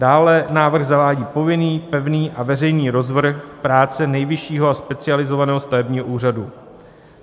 Dále návrh zavádí povinný pevný a veřejný rozvrh práce Nejvyššího a Specializovaného stavebního úřadu.